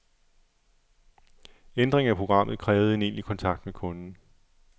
Ændringer i programmet krævede en egentlig kontakt med kunden.